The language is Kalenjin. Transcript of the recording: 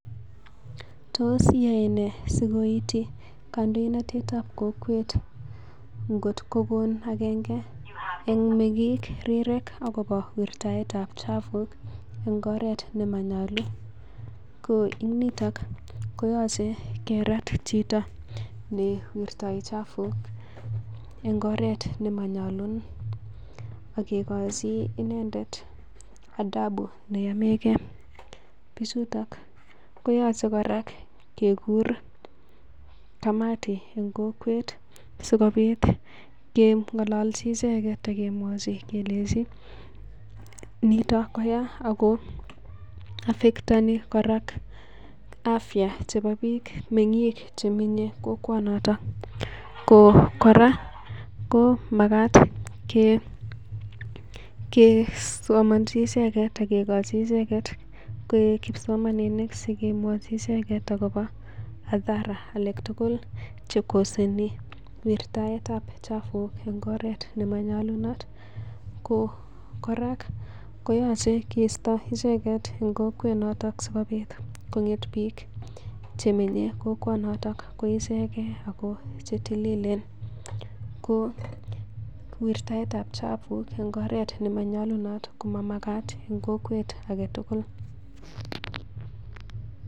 Tos iyoe nee sikoity kandoinatetab kokwet ngot kokon agenge en meng'ik rirek agobo wirataetab chafuk en ngoret nemanyolu. Ko nito koyoche kerat chito ne wirtoi chafuk en ngoret nemanyolu, ak kegochi inendet adabu neyomege. Bichuto koyoche kora kegur kamati en kokwet sikobit keng'ololchi icheget ak kemwochi kelenji nito koya ago affectani kora afya chebo biik, meng'ik chemenye kokwonoto. Ko kora komagat kesomanchi icheget ak kigochi icheget koik kipsomaninik sikemwochi icheget agobo maadhara alak tugul che koseni wirtaetab chafuk en oret nemonyolunot. Ko kora koyoche kiisto icheget en kokwet singong'et biik che menye kokwonoto koichege oo che tililen ko wirtaetab chafuk en ngoret nemanyolunoto ko mamagat en kokwet age tugul.